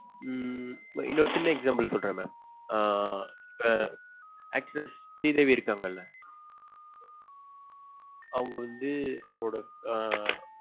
உம் இன்ன ஒரு சின்ன example சொல்றன் mam ஆஹ் அஹ் actress ஸ்ரீதேவி இருக்காங்கல அவங்க வந்து ஆஹ் அவங்களொட